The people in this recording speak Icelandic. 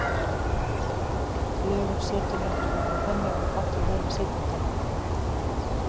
Lögun setunnar þarf að vera þannig að hún falli vel að sitjandanum.